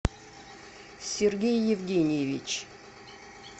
сергей евгеньевич